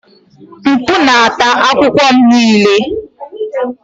Mkpu na-ata akwụkwọ m niile.